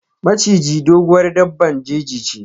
Maciji, doguwar daɓɓan jeji che.